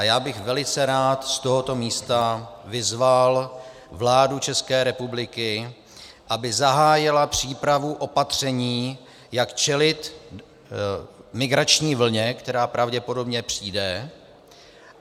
A já bych velice rád z tohoto místa vyzval vládu České republiky, aby zahájila přípravu opatření, jak čelit migrační vlně, která pravděpodobně přijde.